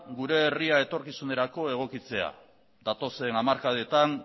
gure herria etorkizunerako egokitzea datozen hamarkadetan